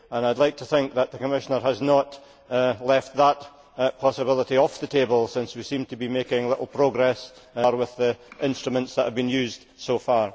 I would like to think that the Commissioner has not left that possibility off the table, since we seem to be making little progress with the instruments which have been used so far.